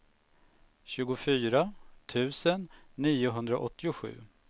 tjugofyra tusen niohundraåttiosju